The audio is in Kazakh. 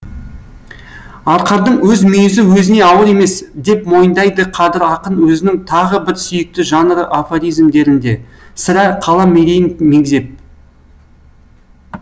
арқардың өз мүйізі өзіне ауыр емес деп мойындайды қадыр ақын өзінің тағы бір сүйікті жанры афоризмдерінде сірә қалам мерейін мегзеп